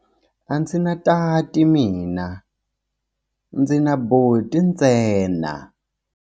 A ndzi na tati mina, ndzi na buti ntsena.